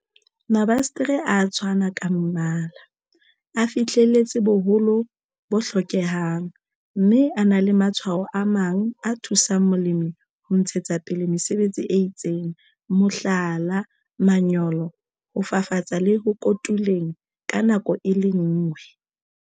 Mabasetere a a tshwana ka mmala, a fihlelletse boholo bo hlokehang, mme a na le matshwao a mang a thusang molemi ho ntshetsa pele mesebetsi e itseng mohlala, manyolo, ho fafatsa le ho kotuleng ka nako e le nngwe.